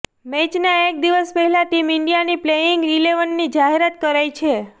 મેચના એક દિવસ પહેલા ટીમ ઈન્ડિયાની પ્લેઈંગ ઈલેવનની જાહેરાત કરાઈ છે